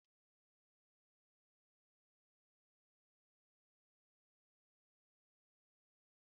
Akụkọ ịhụnanya bụ akụkọ ụtọ gbasara ịhụnanya na njedebe obi ụtọ.